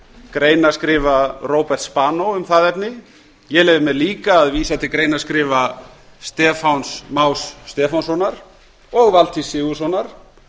greinaskrifa róberts spanó um það efni ég leyfi mér líka að vísa til greinaskrifa stefáns más stefánssonar og valtýs sigurðssonar